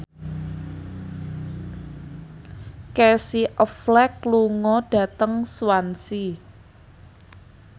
Casey Affleck lunga dhateng Swansea